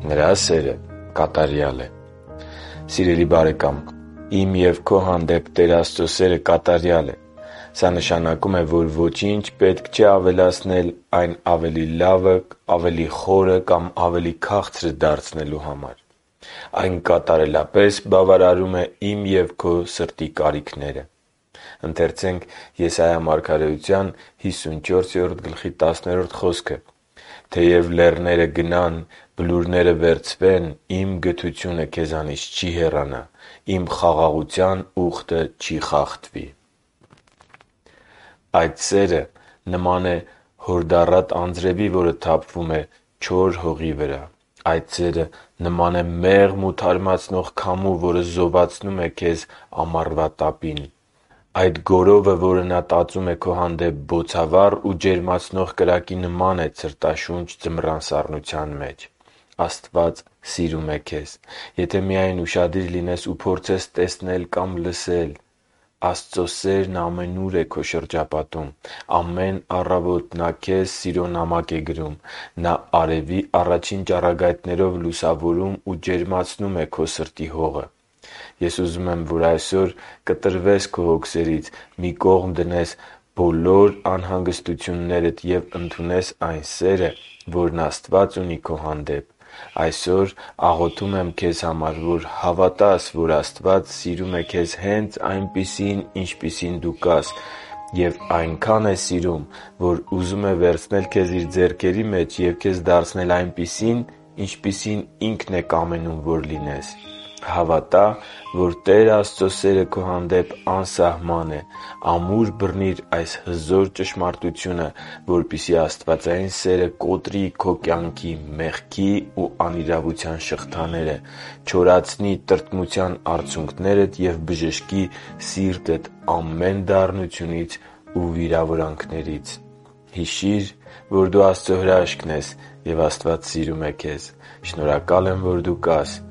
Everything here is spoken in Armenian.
Նրա սերը կատարյալ է Սիրելի՛ բարեկամ, իմ և քո հանդեպ Տեր Աստծո սերը կատարյալ է։ Սա նշանակում է, որ ոչինչ պետք չէ ավելացնել այն ավելի լավը, ավելի խորը կամ ավելի քաղցր դարձնելու համար։ Այն կատարելապես բավարարում է իմ և քո սրտի կարիքները։ «Թեև լեռները գնան, բլուրները վերցվեն, Իմ գթությունը քեզանից չի հեռանա, Իմ խաղաղության ուխտը չի խախտվի»,- ասում է քեզ գթացող Տերը» (Եսայիա 54․10): - Այդ սերը նման է հորդառատ անձրևի, որը թափվում է չոր հողի վրա։ - Այդ սերը նման է մեղմ ու թարմացնող քամու, որը զովացնում է քեզ ամառվա տապին։ - Այդ գորովը, որ Նա տածում է քո հանդեպ բոցավառ ու ջերմացնող կրակի նման է ցրտաշունչ ձմռան սառնության մեջ։ Աստված սիրում է քեզ։ Եթե միայն ուշադիր լինես ու փորձես տեսնել կամ լսել… Աստծո սերն ամենուր է քո շրջապատում։ Ամեն առավոտ Նա քեզ սիրո նամակ է գրում։ Նա արևի առաջին ճառագայթներով լուսավորում ու ջերմացնում է քո սրտի հողը։ Ես ուզում եմ, որ այսօր կտրվես քո հոգսերից, մի կողմ դնես բոլոր անհանգստություններդ և ընդունես այն սերը, որն Աստված ունի քո հանդեպ։ Այսօր աղոթում եմ քեզ համար, որ հավատաս, որ Աստված սիրում է քեզ հե՛նց այնպիսին, ինչպիսին դու կաս։ Եվ այնքա՜ն է սիրում, որ ուզում է վերցնել քեզ Իր ձեռքերի մեջ և քեզ դարձնել այնպիսին, ինչպիսին Ինքն է կամենում, որ լինես։ Հավատա՛, որ Տեր Աստծո սերը քո հանդեպ անսահման է։ Ամուր բռնի՛ր այս հզոր ճշմարտությունը, որպեսզի աստվածային սերը կոտրի քո կյանքի մեղքի ու անիրավության շղթաները, չորացնի տրտմության արցունքներդ և բժշկի սիրտդ ամեն դառնությունից ու վիրավորանքներից։ Հիշի՛ր, որ դու Աստծո հրաշքն ես, և Աստված սիրում է քեզ։ Շնորհակալ եմ, որ դու կա՛ս